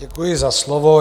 Děkuji za slovo.